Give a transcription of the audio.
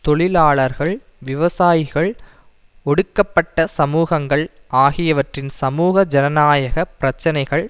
தொழிலாளர்கள் விவசாயிகள் ஒடுக்கப்பட்ட சமூகங்கள் ஆகியவற்றின் சமூக ஜனநாயக பிரச்சினைகள்